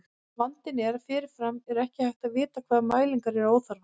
Vandinn er að fyrirfram er ekki hægt að vita hvaða mælingar eru óþarfar.